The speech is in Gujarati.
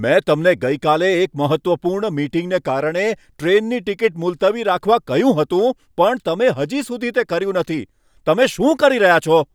મેં તમને ગઈકાલે એક મહત્ત્વપૂર્ણ મીટિંગને કારણે ટ્રેનની ટિકિટ મુલતવી રાખવા કહ્યું હતું પણ તમે હજી સુધી તે કર્યું નથી, તમે શું કરી રહ્યા છો?